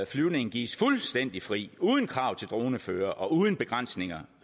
flyvning gives fuldstændig fri uden krav til dronefører og uden begrænsninger